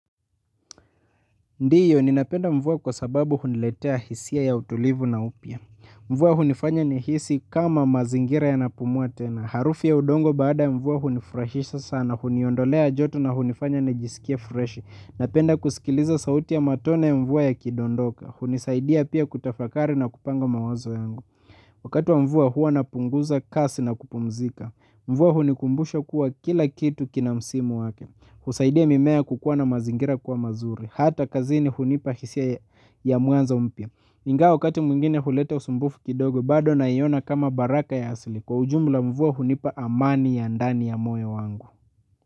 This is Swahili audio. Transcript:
Ndiyo, ninapenda mvua kwa sababu huniletea hisia ya utulivu na upya. Mvua hunifanya nihisi kama mazingira yanapumua tena. Harufu ya udongo baada mvua hunifurahisha sana, huniondolea joto na hunifanya nijisikie freshi. Napenda kusikiliza sauti ya matone ya mvua yakidondoka. Hunisaidia pia kutafakari na kupanga mawazo yangu. Wakati wa mvua huwa napunguza kasi na kupumzika. Mvua hunikumbusha kuwa kila kitu kina msimu wake. Husaidia mimea kukuwa na mazingira kuwa mazuri. Hata kazini hunipa hisia ya mwanzo mpya ingawa wakati mwingine huleta usumbufu kidogo bado naiona kama baraka ya asili. Kwa ujumla mvua hunipa amani ya ndani ya moyo wangu.